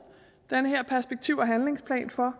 den her perspektiv og handlingsplan for